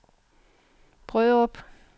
Brørup